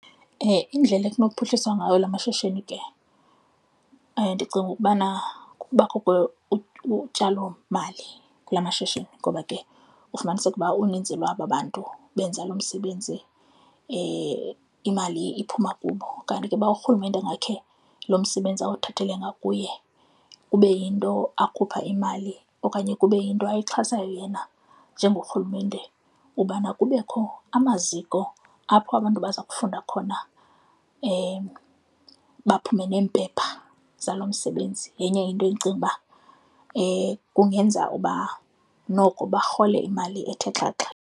Indlela ekunophuhliswa ngawo lwamashishini ke ndicinga ukubana kubakho utyalomali kula mashishini ngoba ke ufumaniseke uba uninzi lwabo abantu benza lo msebenzi, imali iphuma kubo. Kanti ke uba urhulumente ngakhe lo msebenzi awuthathele ngakuye kube yinto akhupha imali okanye kube yinto ayixhasayo yena njengorhulumente ubana kubekho amaziko apho abantu baza kufunda khona baphume neempepha zalo msebenzi, yenye into endicinga uba kungenza uba noko barhole imali ethe xhaxha.